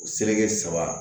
Seleke saba